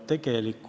Aitäh!